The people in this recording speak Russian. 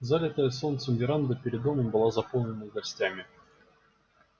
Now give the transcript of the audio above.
залитая солнцем веранда перед домом была заполнена гостями